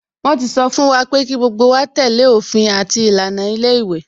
Wọn ti sọ fún wa pé kí gbogbo wa tẹ́lẹ̀ òfin àti ìlànà ilé ìwé